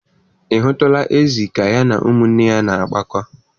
Ị hụtụla ezì ka ya na ụmụnne ya na-akpakọ?